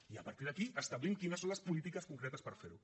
i a partir d’aquí establim quines són les polítiques concretes per fer ho